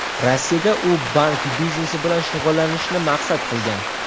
Rossiyada u bank biznesi bilan shug‘ullanishni maqsad qilgan.